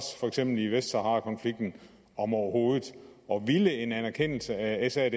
for eksempel i vestsaharakonflikten om overhovedet og ville en anerkendelse af sadr